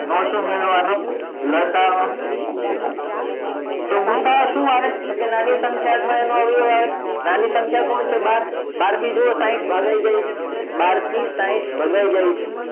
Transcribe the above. માં શું મેળવવા નો લસા અ તો ગુસા અ શું આવે તો કે નાની સંખ્યા અથવા એનો અવયવ આવે નાની સંખ્યા કોણ છે બાર બાર થી જુઓ સાહીંઠ ભગાય જાય છે બાર થી સાહીંઠ ભગાય જાય છે